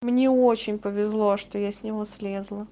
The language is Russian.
мне очень повезло что я с него слезла